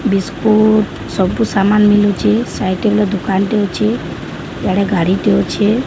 Biscuit ସବୁ ସାମାନ ମିଳୁଚି ସାଇଟ ହେଲେ ଦୁକାନଟେ ଅଛି ଇଆଡ଼େ ଗାଡ଼ିଟେ ଅଛି।